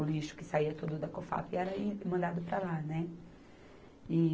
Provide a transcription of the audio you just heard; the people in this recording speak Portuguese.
O lixo que saía tudo da Cofap era e, mandado para lá, né? E